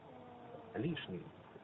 лишний